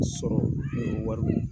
sɔrɔ ni wari